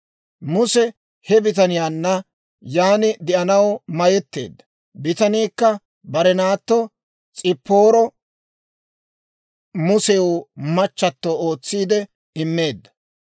Muse he bitaniyaanna yaan de'anaw mayetteedda; bitaniikka bare naatto S'ipaaro Musew machchato ootsiide immeedda.